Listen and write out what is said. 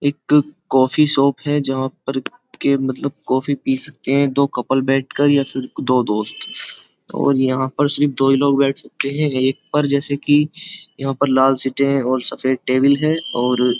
एक coffee shop है जहाँ पर के मतलब कॉफी पी सकते हैं दो कपल बैठकर या फिर दो दोस्त और यहाँ पर सिर्फ दो ही लोग बैठ सकते हैं एक पर जैसे कि यहाँ पर लाल सीटें और सफेद टेबल है और --